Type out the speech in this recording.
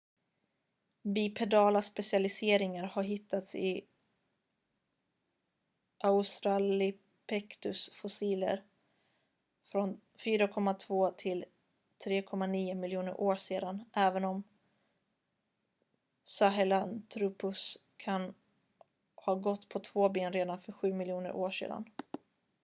bipedala specialiseringar har hittats i australopithecus-fossiler från 4,2-3,9 miljoner år sedan även om sahelanthropus kan ha gått på två ben redan för sju miljoner år sedan